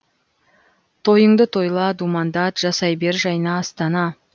тойыңды тойла думандат жасай бер жайна астана